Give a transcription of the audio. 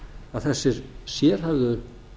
að þessir sérhæfðu